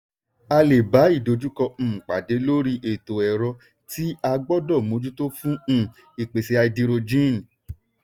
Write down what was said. a le bá ìdojúkọ um pàdé lórí ètò ẹ̀rọ tí a gbọ́dọ̀ mójútó fún um ìpèsè háídírójìn.